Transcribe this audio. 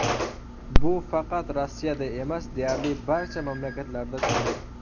Bu faqat Rossiyada emas, deyarli barcha mamlakatlarda shunday.